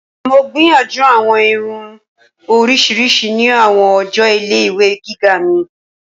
Mo gbiyanju awọn irun oriṣiriṣi ni awọn ọjọ ile-iwe giga mi.